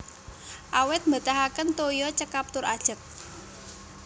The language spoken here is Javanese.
Awit mbetahaken toya cekap tur ajeg